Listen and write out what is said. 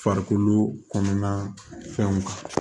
Farikolo kɔnɔna fɛnw